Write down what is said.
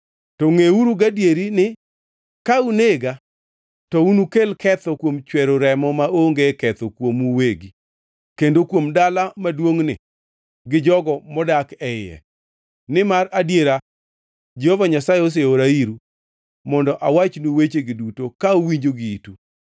To ngʼeuru gadieri ni, ka unega, to unukel ketho kuom chwero remo maonge ketho kuomu uwegi kendo kuom dala maduongʼni gi jogo modak e iye, nimar adiera Jehova Nyasaye oseora iru mondo awachnu wechegi duto ka uwinjo gi itu.”